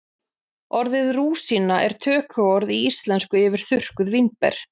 Orðið rúsína er tökuorð í íslensku yfir þurrkuð vínber.